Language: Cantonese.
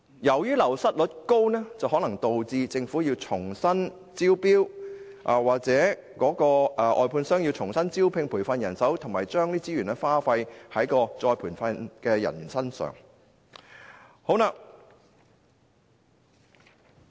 由於流失率高，可能導致政府須重新招標，而外判商或須重新招聘和培訓人手，亦須再次耗費資源來培訓員工。